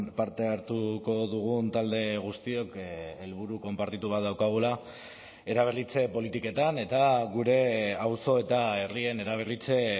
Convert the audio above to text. parte hartuko dugun talde guztiok helburu konpartitu bat daukagula eraberritze politiketan eta gure auzo eta herrien eraberritze